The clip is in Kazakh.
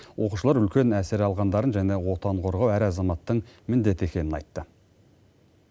оқушылар үлкен әсер алғандарын және отан қорғау әр азаматтың міндеті екенін айтты